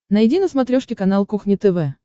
найди на смотрешке канал кухня тв